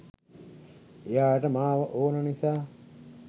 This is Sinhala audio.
එයාට මාව ඕන නිසා